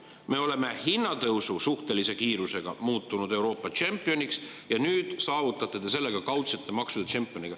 Me oleme hinnatõusu suhtelise kiiruse poolest muutunud Euroopa tšempioniks ja nüüd te saavutate ka kaudsete maksude tšempioni.